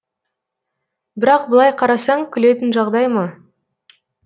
бірақ былай қарасаң күлетін жағдай ма